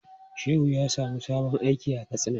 Shehu ya samu sabon aiki a Katsina.